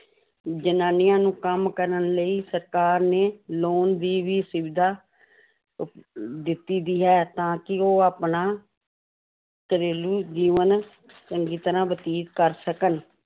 ਜ਼ਨਾਨੀਆਂ ਨੂੰ ਕੰਮ ਕਰਨ ਲਈ ਸਰਕਾਰ ਨੇ loan ਦੀ ਵੀ ਸੁਵਿਧਾ ਉਪ ਦਿੱਤੀ ਹੋਈ ਹੈ, ਤਾਂ ਕਿ ਉਹ ਆਪਣਾ ਘਰੇਲੂ ਜੀਵਨ ਚੰਗੀ ਤਰ੍ਹਾਂ ਬਤੀਤ ਕਰ ਸਕਣ